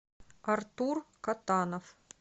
артур катанов